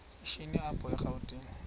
shini apho erawutini